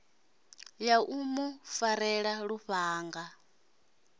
ya u mu farela lufhanga